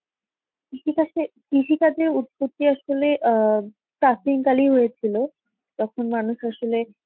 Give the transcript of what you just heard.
কৃষি কাজে কৃষি কাজের উৎপত্তি আসলে অ্যাঁ কালেই হয়েছিল. তখন মানুষ আসলে